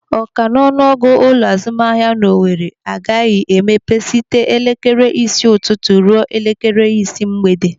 Ọ ka n'ọnụ ọgụ ụlọ azụmahịa nọ n'Owere agaghị emepe site elekere isii ụtụtụ ruo elekere isii mgbede.